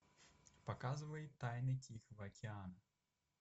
показывай тайны тихого океана